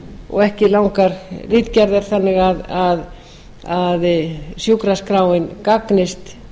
og ekki langar ritgerðir þannig að sjúkraskráin gagnist